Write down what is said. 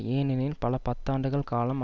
ஏனெனில் பல பத்தாண்டுகள் காலம்